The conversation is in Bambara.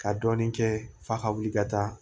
Ka dɔɔnin kɛ f'a ka wuli ka taa